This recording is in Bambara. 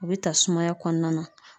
O be ta sumaya kɔnɔna na.